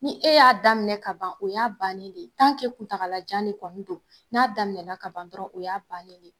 Ni e y'a daminɛ ka ban o y'a bannen de ye kuntagalajan de kɔni don, n'a daminɛ na ka ban dɔrɔn o y'a bannen de.